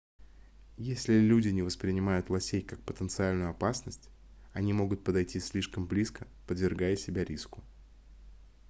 если люди не воспринимают лосей как потенциальную опасность они могут подойти слишком близко подвергая себя риску